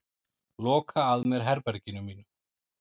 Loka að mér herberginu mínu.